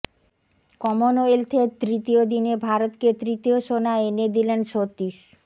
কমনওয়েলথের তৃতীয় দিনে ভারতকে তৃতীয় সোনা এনে দিলেন সতীশ